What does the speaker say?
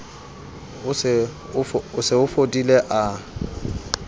o se o fodile a